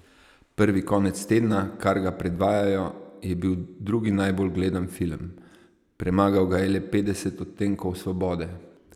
Prvi konec tedna, kar ga predvajajo, je bil drugi najbolj gledan film, premagal ga je le Petdeset odtenkov svobode.